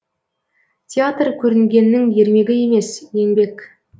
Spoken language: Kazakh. театр көрінгеннің ермегі емес еңбек